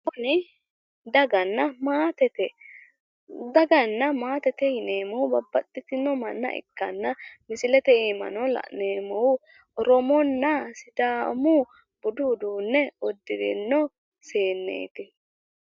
Kuni daganna maatete. Daganna maatete yineemmohu babbaxxitino manna ikkanna misilete iimano la'neemmohu oromonna sidaamu budu uduunne uddirino seenneeti.